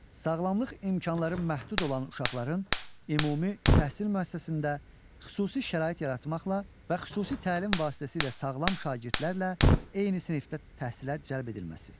Sağlamlıq imkanları məhdud olan uşaqların ümumi təhsil müəssisəsində xüsusi şərait yaratmaqla və xüsusi təlim vasitəsilə sağlam şagirdlərlə eyni sinifdə təhsilə cəlb edilməsi.